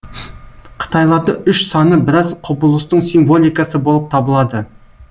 қытайларды үш саны біраз құбылыстың символикасы болып табылады